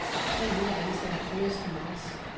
Tre hundrede ansatte fyres i marts.